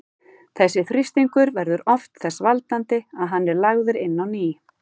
Þessi þrýstingur verður oft þess valdandi að hann er lagður inn á ný.